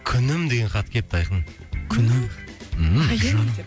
күнім деген хат келіпті айқын күнім ммм айым деп жаным